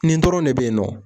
Nin dɔrɔn de bɛ yen nɔ